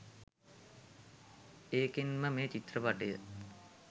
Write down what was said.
ඒකෙන්ම මේ චිත්‍රපටිය